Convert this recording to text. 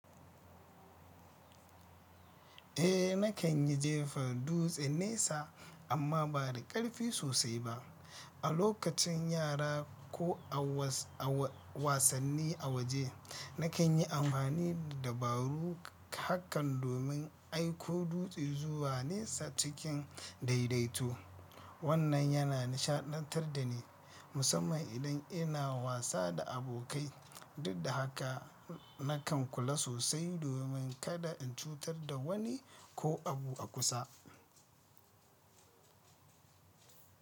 Eh nakan yi jefa dutse nesa amma ba da ƙarfi sosai ba. A lokacin yara ko a wasanni a waje, nakan yi amfani da dabaru hakan domin aiko dutse zuwa nesa cikin daidaito. Wannan yana nishaɗantar da ni, musamman idan ina wasa da abokai, duk da haka nakan kula sosai domin kada in cutar da wani ko abu a kusa.